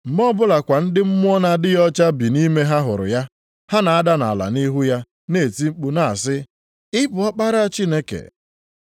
Mgbe ọbụla kwa ndị mmụọ na-adịghị ọcha bi nʼime ha hụrụ ya, ha na-ada nʼala nʼihu ya na-eti mkpu na-asị, “Ị bụ Ọkpara Chineke!”